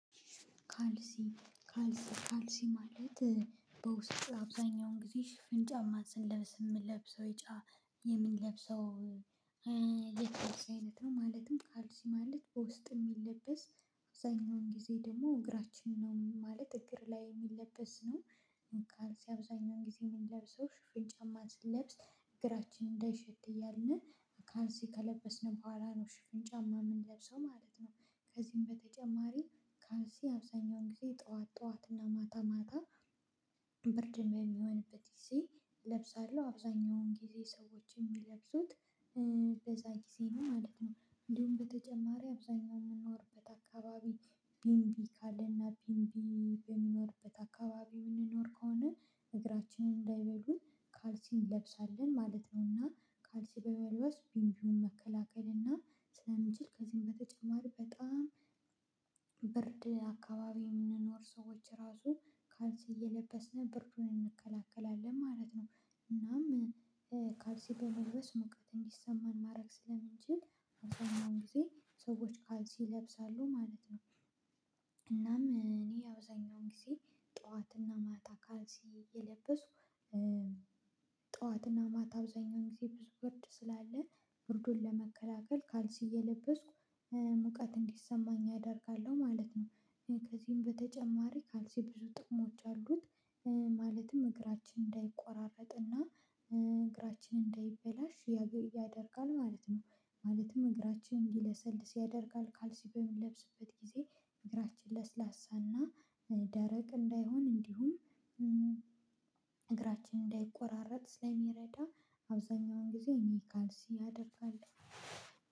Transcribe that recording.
ካልሲ ካልሲ ካልሲ ማለት በውስጥ አብዛኛውን ጊዜ ሽፍን ጫማ ስንለብስ የምንለብሰው የምንለብሰው የካልሲ አይነት ነው ማለትም ካልሲ ማለት በውስጥ የሚለበስ አብዛኛውን ጊዜ ደግሞ እግራችንን ነው ማለት እግር ላይ የሚለበስ ነው። አብዛኛውን ጊዜ የምንለብሰው ሽፍን ጫማ ስንለብስ እግራችን እንዳይሸት እያልን ካልሲ ከለበስን በኋላ ነው ሽፍን ጫማ እምንለብሰው ማለት ነው። ከዚህም በተጨማሪ ካልሲ አብዛኛውን ጊዜ ጠዋት ጠዋት እና ማታ ማታ ብርድም የሚሆንበት ጊዜ እለብሳለሁ አብዛኛውን ጊዜ ሰዎች የሚለብሱት በዛ ጊዜ ነው ማለት ነው። እንዲሁም በተጨማሪ አብዛኛውን የምንኖርበት አካባቢ ቢንቢ ካለና ቢንቢ የሚኖርበት አካባቢ እምንኖር ከሆነ እግራችንን እንዳይበሉን ካልሲ እንለብሳለን ማለት ነው። እና ካልሲ በመልበስ ቢንቢውን መከላከል እና ስለምንችል ከዚህም በተጨማሪ በጣም ብርድ አካባቢ የምንኖር ሰዎች ራሱ ካልሲ እየለበስን ብርዱን እንከላከላለን ማለት ነው። እናም ካልሲ በመልበስ ሙቀት እንዲሰማን ማድረግ ስለምንችል አብዛኛውን ጊዜ ሰዎች ካልሲ ይለብሳሉ ማለት ነው። እናም እኔ አብዛኛውን ጊዜ ጠዋትና ማታ ካልሲ እየለበስኩ ጠዋትና ማታ አብዛኛውን ጊዜ ብዙ ብርድ ስላለ ብርዱን ለመከላከል ካልሲ እየለበስኩ ሙቀት እንዲሰማኝ አደርጋለሁ ማለት ነው። ከዚህም በተጨማሪ ካልሲ ብዙ ጥቅሞች አሉት። ማለትም እግራችን እንዳይቆራረጥ እና እግራችን እንዳይበላሽ ያደርጋል ማለት ነው። ማለትም እግራችን እንዲለሰልስ ያደርጋል ካልሲ በምንለብስበት ጊዜ እግራችን ለስላሳና ደረቅ እንዳይሆን እንዲሁም እግራችን እንዳይቆራረጥ ስለሚረዳ አብዛኛውን ጊዜ እኔ ካልሲ አደርጋለሁ።